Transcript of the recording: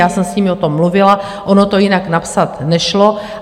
Já jsem s nimi o tom mluvila, ono to jinak napsat nešlo.